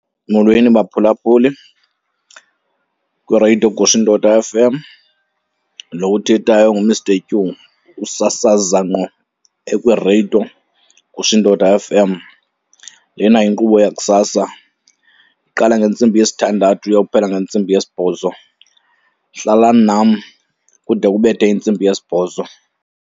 Molweni baphulaphuli kwireyido Gushindoda F_M. Lo uthethayo nguMr Q, usasaza ngqo ekwireyido Gushindoda F_M. Lena yinkqubo yakusasa, iqala ngentsimbi yesithandathu iyokuphela ngentsimbi yesibhozo. Hlalani nam kude kubethe intsimbi yesibhozo.